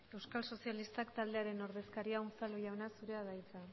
euskal sozialistak taldearen ordezkaria unzalu jauna zurea da hitza